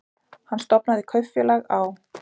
Hann stofnaði kaupfélag á